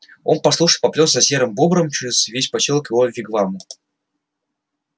он послушно поплёлся за серым бобром через весь посёлок к его вигваму